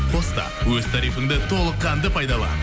қос та өз тарифіңді толыққанды пайдалан